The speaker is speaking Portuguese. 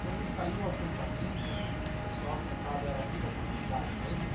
Quando saiu o assentamento, o pessoal assentado era aqui da comunidade mesmo?